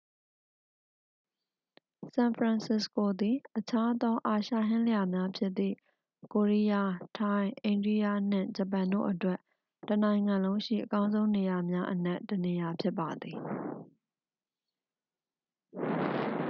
ဆန်ဖရန်စစ္စကိုသည် အခြားသော အာရှဟင်းလျာများဖြစ်သည့် ကိုရီးယား ထိုင်း အိန္ဒိယ နှင့် ဂျပန်တို့အတွက် တစ်နိုင်ငံလုံးရှိ အကောင်းဆုံးနေရာများအနက် တစ်နေရာဖြစ်ပါသည်